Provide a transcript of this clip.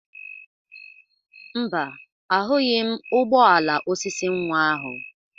Mba, ahụghị m ụgbọ ala osisi nwa ahụ.